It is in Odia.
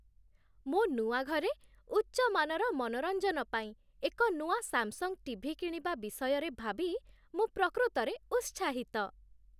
ମୋ ନୂଆ ଘରେ ଉଚ୍ଚମାନର ମନୋରଞ୍ଜନ ପାଇଁ ଏକ ନୂଆ ସାମ୍‌ସଙ୍ଗ୍ ଟିଭି କିଣିବା ବିଷୟରେ ଭାବି ମୁଁ ପ୍ରକୃତରେ ଉତ୍ସାହିତ।